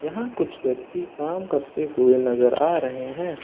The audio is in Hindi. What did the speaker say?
यहाँ कुछ व्यक्ति काम करते हुए नजर आ रहे हैं।